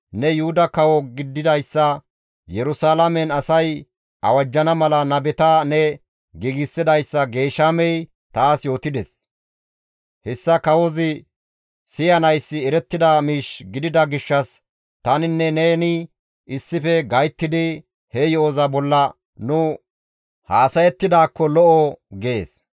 ne Yuhuda kawo gididayssa Yerusalaamen asay awajjana mala nabeta ne giigsidayssa Geeshamey taas yootides; hessa kawozi siyanayssi erettida miish gidida gishshas taninne neni issife gayttidi he yo7oza bolla nu haasayettidaakko lo7o» gees.